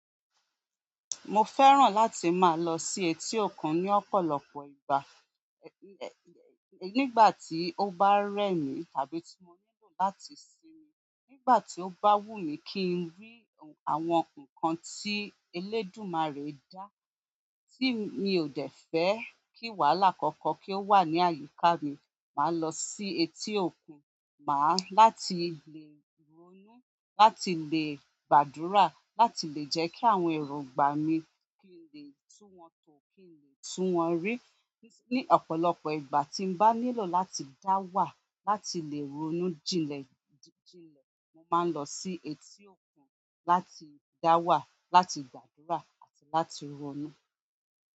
Mo fẹ́ràn láti máa lọ sí etí òkun ní ọ̀pọ̀lọpọ̀ ìgbà. Nígbà tí o bá rẹ mi tàbí tí mo nílò láti sinmi, nígbà tí o bá wù mi kí n rí àwọn ǹkan tí elédùmarè dá, ti mi ò dẹ̀ fẹ́ kí wàhálà kankan kí o wa ní àyíká mi, má losi etí òkun, máa-- láti lè ronú, láti lè gbàdúrà, láti lè jẹ́ kí àwọn èròǹgbà mi kí n lè tún wọn tò, kí n lè tún wọn rí. Ní ọ̀pọ̀lọpọ̀ ìgbà tí n bá nílò láti dá wà, láti lè ronú jinlẹ̀ jinlẹ̀, mo máa ń lọ sí etí òkun láti dá wà, láti gbàdúrà àti láti ronú.